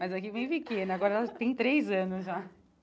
Mas aqui é bem pequena, agora ela tem três anos já.